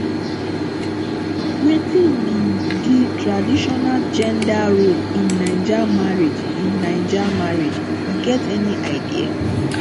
wetin be di traditional gender role in naija marriage in naija marriage you get any idea